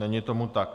Není tomu tak.